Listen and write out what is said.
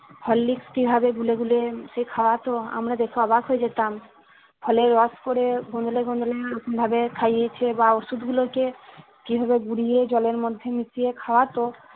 Horlicks কিভাবে গুলে গুলে উম সে খাওয়াতো আমরা দেখে অবাক হয়ে যেতাম ফলের রস করে গোদলে গোদলে এরকম ভাবে খাইয়েছে বা ওষুধ গুলোকে কিভাবে গুড়িয়ে জলের মধ্যে মিশিয়ে খাওয়াতো